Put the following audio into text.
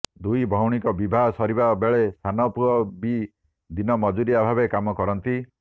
ଦୁଇ ଭଉଣୀଙ୍କ ବିବାହ ସରିଥିବା ବେଳେ ସାନ ପୁଅ ବି ଦିନ ମଜୁରିଆ ଭାବରେ କାମ କରନ୍ତି